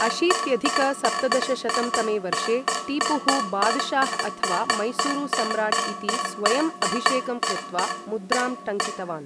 अशीत्यधिक सप्तदशशतं तमे वर्षे, टीपुः बादशाह् अथवा मैसूरु सम्राट् इति स्वयम् अभिषेकं कृत्वा मुद्रां टङ्कितवान्।